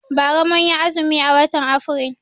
Bara mun yi azumi a watan Afrilu.